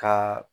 Ka